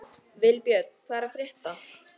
Vilbjörn, hvað er að frétta?